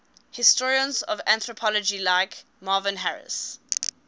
historians of anthropology like marvin harris